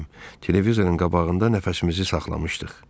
Televizorun qabağında nəfəsimizi saxlamışdıq.